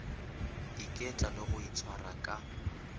iketla le go itshwara ka